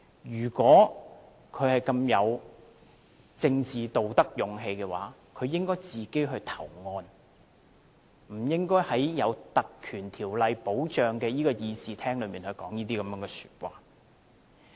如果他有政治道德和勇氣，應該自行投案，不應該在受《立法會條例》保障的會議廳內說這些話。